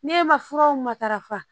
Ne ma furaw matarafa